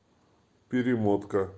перемотка